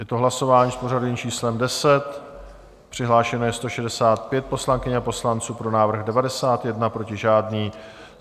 Je to hlasování s pořadovým číslem 10, přihlášeno je 165 poslankyň a poslanců, pro návrh 91, proti žádný.